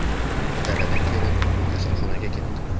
Daladan kelib, kasalxonaga ketdim.